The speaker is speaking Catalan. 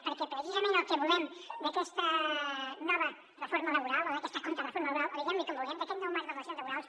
perquè precisament el que volem d’aquesta nova reforma laboral o d’aquesta contrareforma laboral o diguem li com vulguem d’aquest nou marc de relacions laborals